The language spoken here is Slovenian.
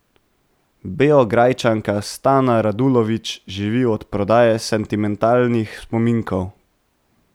Beograjčanka Stana Radulović živi od prodaje sentimentalnih spominkov.